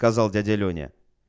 сказал дядя лёня